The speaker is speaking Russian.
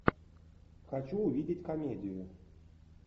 хочу увидеть комедию